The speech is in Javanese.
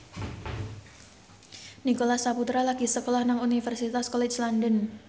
Nicholas Saputra lagi sekolah nang Universitas College London